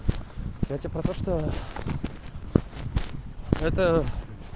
это про то что это